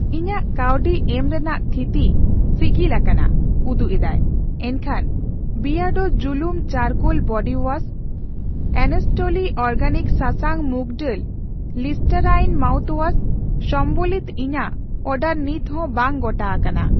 ᱤᱧᱟᱜ ᱠᱟᱹᱣᱰᱤ ᱮᱢ ᱨᱮᱱᱟᱜ ᱛᱷᱤᱛᱤ ᱥᱤᱜᱤᱞᱟᱠᱟᱱᱟ ᱩᱫᱩᱜ ᱮᱫᱟᱭ, ᱮᱱᱠᱷᱟᱱ ᱵᱤᱭᱟᱰᱳ ᱡᱩᱞᱩᱢ charcoal body wash, honestly organic ᱥᱟᱥᱟᱝ ᱢᱩᱠ ᱰᱟᱹᱞ ᱞᱤᱥᱴᱮᱨᱟᱭᱤᱱ ᱢᱟᱣᱩᱛᱷᱣᱟᱥ ᱥᱚᱢᱵᱚᱞᱤᱛᱚ ᱤᱧᱟᱜ ᱚᱰᱟᱨ ᱱᱤᱛᱦᱚ ᱵᱟᱝ ᱜᱚᱴᱟ ᱟᱠᱟᱱᱟ ᱾